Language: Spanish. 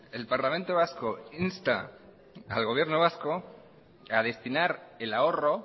el parlamento vasco insta al gobierno vasco a destinar el ahorro